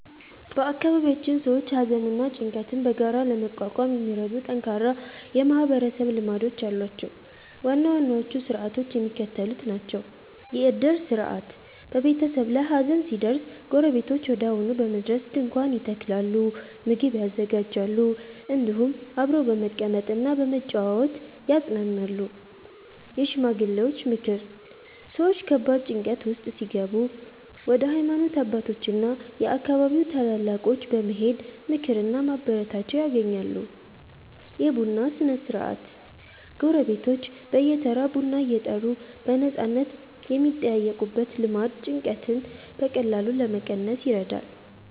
በአካባቢያችን ሰዎች ሐዘንና ጭንቀትን በጋራ ለመቋቋም የሚረዱ ጠንካራ የማህበረሰብ ልማዶች አሏቸው። ዋና ዋናዎቹ ሥርዓቶች የሚከተሉት ናቸው፦ የዕድር ሥርዓት፦ በቤተሰብ ላይ ሐዘን ሲደርስ ጎረቤቶች ወዲያውኑ በመድረስ ድንኳን ይተክላሉ፣ ምግብ ያዘጋጃሉ፤ እንዲሁም አብረው በመቀመጥና በመጨዋወት ያጽናናሉ። የሽማግሌዎች ምክር፦ ሰዎች ከባድ ጭንቀት ውስጥ ሲገቡ ወደ ሃይማኖት አባቶችና የአካባቢው ታላላቆች በመሄድ ምክርና ማበረታቻ ያገኛሉ። የቡና ሥነ-ሥርዓት፦ ጎረቤቶች በየተራ ቡና እየጠሩ በነፃነት የሚጠያየቁበት ልማድ ጭንቀትን በቀላሉ ለመቀነስ ይረዳል።